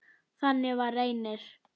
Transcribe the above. Þannig var Reynir.